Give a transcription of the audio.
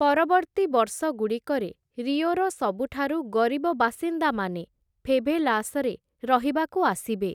ପରବର୍ତ୍ତୀ ବର୍ଷଗୁଡ଼ିକରେ, ରିଓର ସବୁଠାରୁ ଗରିବ ବାସିନ୍ଦାମାନେ ଫେଭେଲାସରେ ରହିବାକୁ ଆସିବେ ।